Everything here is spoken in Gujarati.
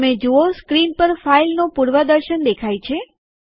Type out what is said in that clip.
તમે જુઓ સ્ક્રીન પર ફાઈલનું પૂર્વદર્શન દેખાય છે